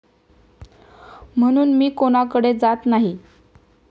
म्हणून मी कुणाकडे जात नाही.